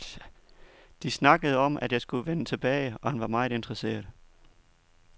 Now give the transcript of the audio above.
De snakkede om, at jeg skulle vende tilbage, og han var meget interesseret.